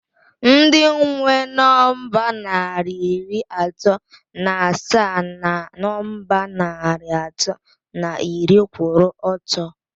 Ndị nwe nọmba narị iri atọ na asaa na nọmba narị atọ na iri kwụrụ ọtọ